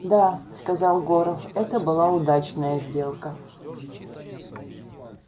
да сказал горов это была удачная сделка